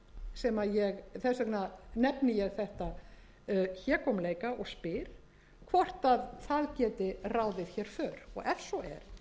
sem ég þess vegna nefni þetta hégómleika og spyr hvort það geti ráðið hér för og ef svo er